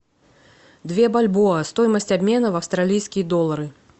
две бальбоа стоимость обмена в австралийские доллары